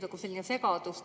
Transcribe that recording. See tekitab segadust.